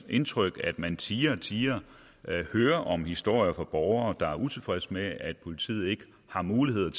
indtryk at man tiere og tiere hører historier fra borgere der er utilfredse med at politiet ikke har mulighed